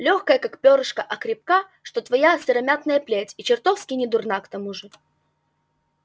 лёгкая как пёрышко а крепка что твоя сыромятная плеть и чертовски недурна к тому же